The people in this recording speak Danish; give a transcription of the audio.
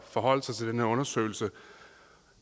forholde sig til den her undersøgelse